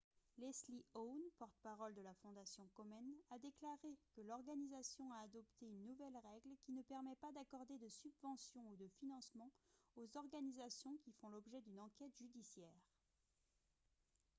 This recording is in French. leslie aun porte-parole de la fondation komen a déclaré que l'organisation a adopté une nouvelle règle qui ne permet pas d'accorder de subventions ou de financements aux organisations qui font l'objet d'une enquête judiciaire